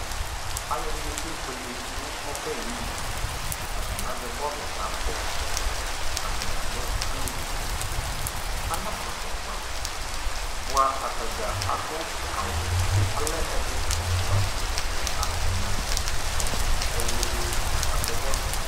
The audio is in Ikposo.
alʋɛdini kɛ bʋɛlɛ nʋ ɔbɛ ayinʋ, atani azɛ bɔlʋ ka kpɔ, atagya lɛ alʋvi, anadʋ aƒʋkpa bʋa atagya adʋ awʋ, alɛ ɛdi ɛƒʋa, ɛla, ɛna ɛtʋɛwlʋ, ɛwlʋdi la kʋ aka kpɔ bɔlʋɛ